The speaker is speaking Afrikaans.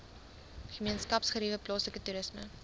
gemeenskapsgeriewe plaaslike toerisme